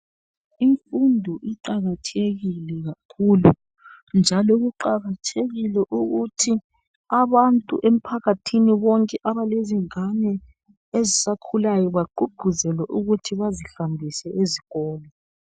Imfundo iqakathekile kakhulu njalo kuqakathekile ukuthi abantu emphakathini bonke abale zingane ezisakhulayo bagqugquzelwe ukuthi bazihambise ezikolo